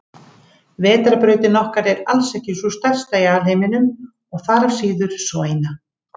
Vetrarbrautin okkar er alls ekki sú stærsta í alheiminum og þaðan af síður sú eina.